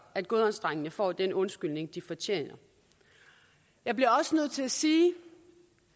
at godhavnsdrengene får den undskyldning de fortjener jeg bliver også nødt til at sige